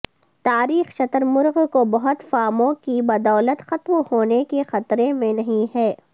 تاریخ شتر مرغ کو بہت فارموں کی بدولت ختم ہونے کے خطرے میں نہیں ہیں